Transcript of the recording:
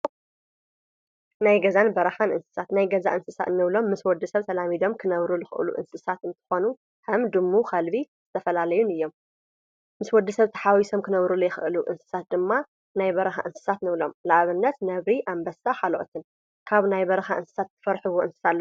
ናይ ገዛን በረኻን እንስሳት ናይ ገዛ እንስሳ እንብሎም ምስ ወድሰብ ተላሚዶም ክነብሩ ዝኽእሉ እንስሳት እንትኾኑ ከም ድሙ፣ ከልብን ዝተፈላለዩን እዮም። ምስ ወድሰብ ተሓዋዊሶም ክነብሩ ዘይክእሉ እንስሳት ድማ ናይ በረኻ እንስሳት ንብሎም ንአብነት ነብሪ፣ አንበሳ ካልኦትን። ካብ ናይ በረኻ እንስሳት ትፈርሕዎ እንስሳት አሎ ዶ?